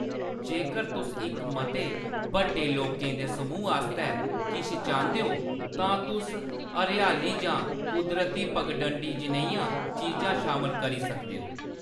जेकर तुस इक मते बड्डे लोकें दे समूह् आस्तै किश चांह्‌‌‌दे ओ, तां तुस हरेआली जां कुदरती पगडंडी जनेहियां चीजां शामल करी सकदे हो।